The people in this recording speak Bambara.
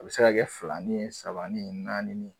A bi se ka kɛ filanin sabanin naaninin.